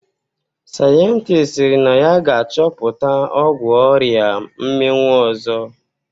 Sayentist sịrị na ya ga-achọpụta ọgwụ oria mminwụ ọzọ